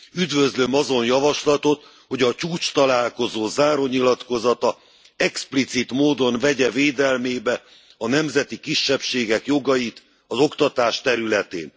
Üdvözlöm azon javaslatot, hogy a csúcstalálkozó zárónyilatkozata explicit módon vegye védelmébe a nemzeti kisebbségek jogait az oktatás területén.